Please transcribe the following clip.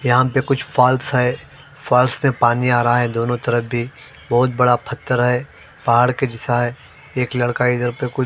यहां पे कुछ फॉल्स है फॉल्स में पानी आ रहा है दोनों तरफ भी बहुत बड़ा पत्थर हैपहाड़ के जैसा है। एक लड़का इधर प कोई-